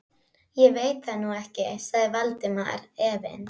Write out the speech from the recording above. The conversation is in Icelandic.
Ég veit það nú ekki- sagði Valdimar efins.